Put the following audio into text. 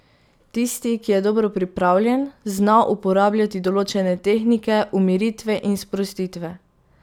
Tisti, ki je dobro pripravljen, zna uporabljati določene tehnike umiritve in sprostitve.